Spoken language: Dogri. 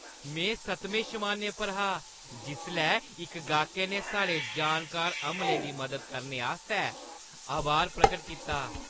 में सतमें शमानै पर हा जिसलै इक गाह्कै ने साढ़े जानकार अमले दी मदद आस्तै आभार प्रकट कीता।